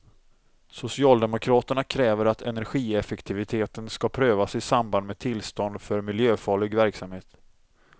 Socialdemokraterna kräver att energieffektiviteten skall prövas i samband med tillstånd för miljöfarlig verksamhet.